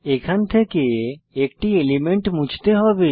এখান থেকে একটি এলিমেন্ট মুছতে হবে